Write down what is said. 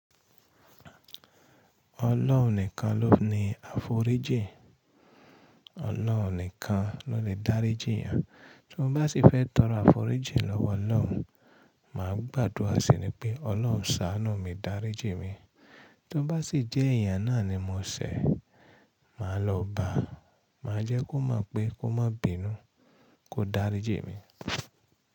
Ọlọ́run nìkan ló ní àforíjì, ọlọ́run nìkan ló lè dáríjì yàn. Tí mo bá sì fẹ́ tọrọ àforíjì lọ́wọ́ ọlọ́run, màá gbàdúrà síi ni pé ọlọ́run ṣàánú mi dáríjì mi. Tí ó bá ṣì jẹ́ èèyàn náà ni mo ṣẹ̀, màá lọ bá, màá jẹ́ kó mọ̀ pé kó má bínú, kó dáríjì mi.